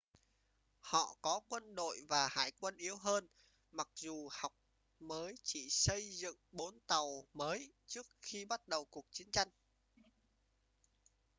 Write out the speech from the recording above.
họ có quân đội và hải quân yếu hơn mặc dù học mới chỉ xây dựng bốn tàu mới trước khi bắt đầu cuộc chiến tranh